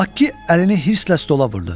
Makki əlini hırslə stola vurdu.